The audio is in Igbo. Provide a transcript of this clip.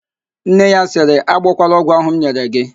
Nne ya sịrị, agbọkwala ogwụ ahụ m nyere g!